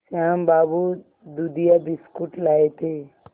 श्याम बाबू दूधिया बिस्कुट लाए थे